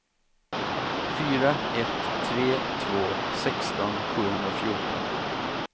fyra ett tre två sexton sjuhundrafjorton